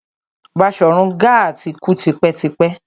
Baṣorun Gaa ti kú tipẹ́ tipẹ́.